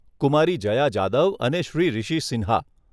કુમારી જયા જાદવ અને શ્રી રિશી સિંહા